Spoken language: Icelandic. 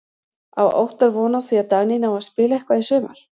Á Óttar von á því að Dagný nái að spila eitthvað í sumar?